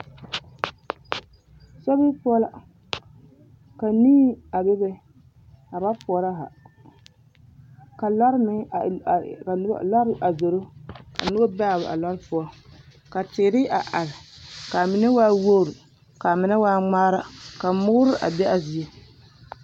Sobiri poɔ la ka nii a bebe a ba poɔrɔ haa ka lɔre meŋ a a a lɔre meŋ zoro ka neɛ be a lɔre poɔ ka teere a are k,a mine waa wogri k,a mine waa ŋmaara ka moore a be a zie.